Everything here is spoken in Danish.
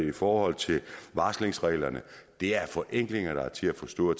i forhold til varslingsreglerne det er forenklinger der er til at forstå